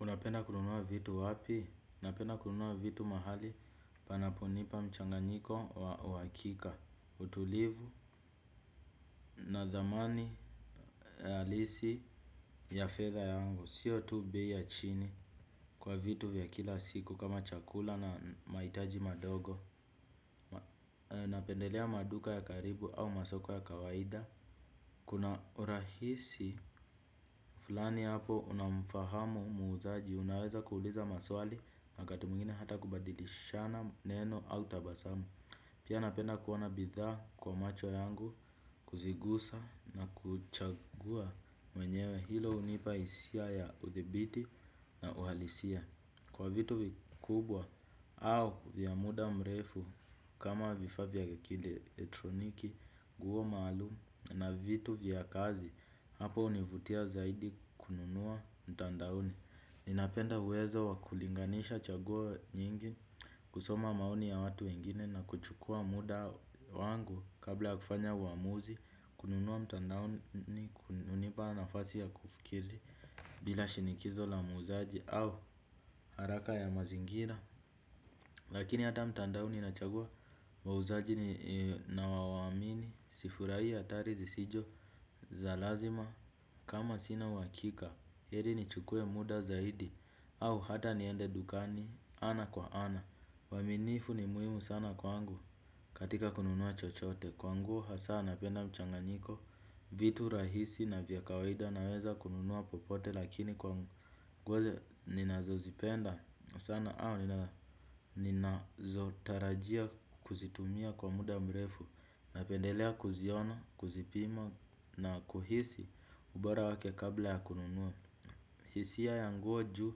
Unapenda kununua vitu wapi? Napenda kununua vitu mahali panapo nipa mchanganyiko wa uhakika, utulivu, na dhamani, alisi ya fedha yangu. Sio tu bei ya chini kwa vitu vya kila siku kama chakula na maitaji madogo. Unapendelea maduka ya karibu au masoko ya kawaida. Kuna urahisi fulani hapo unamfahamu muuzaji unaweza kuuliza maswali wakati mwingine hata kubadilishana neno au tabasamu. Pia napenda kuona bidhaa kwa macho yangu kuzigusa na kuchagua mwenyewe hilo hunipa isia ya udhibiti na uhalisia. Kwa vitu vikubwa au vya muda mrefu kama vifaa vya kielektroniki nguo maalumu na vitu vya kazi hapo univutia zaidi kununua mtandaoni. Ninapenda uwezo wakulinganisha chaguo nyingi kusoma maoni ya watu wengine na kuchukua muda wangu kabla ya kufanya uamuzi kununua mtandaoni hunipa nafasi ya kufikiri. Bila shinikizo la muuzaji au haraka ya mazingira. Lakini hata mtandaoni nachagua muuzaji na wawamini. Sifurai hatarizi sijo za lazima kama sina uhakika. Heri nichukue muda zaidi au hata niende dukani ana kwa ana uaminifu ni muhimu sana kwangu katika kununua chochote. Kwa nguo hasaa napenda mchanganyiko vitu rahisi na vya kawaida naweza kununua popote. Lakini kwa nguo nina zozipenda sana au ninazo tarajia kuzitumia kwa muda mrefu. Napendelea kuziona, kuzipima na kuhisi ubora wake kabla ya kununua. Hisia ya nguo ju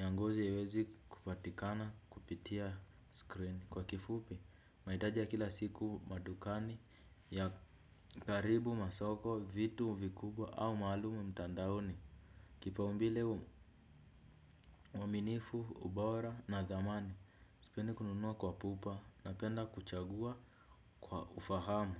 ya ngozi iwezi kupatikana kupitia screen. Kwa kifupi, maitaji ya kila siku madukani ya karibu masoko, vitu vikubwa au malumu mtandaoni kipaumbile uaminifu ubora na dhamani sipendi kununua kwa pupa napenda kuchagua kwa ufahamu.